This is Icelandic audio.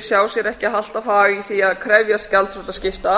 sjá sér ekki alltaf hag í því að krefjast gjaldþrotaskipta